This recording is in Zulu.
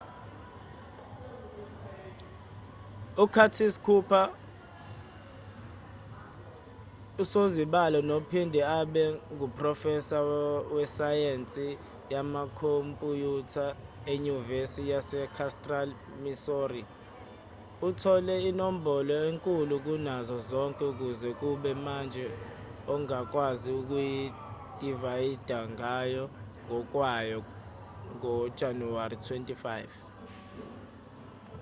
u-curtis cooper usozibalo nophinde abe nguprofesa wesayensi yamakhompuyutha enyuvesi yasecentral missouri uthole inombolo enkulu kunazo zonke kuze kube manje ongakwazi ukuyidivayida ngayo ngokwayo ngojanuwari 25